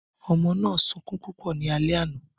Ọmọ náà sunkún púpọ̀ ní alẹ́ àná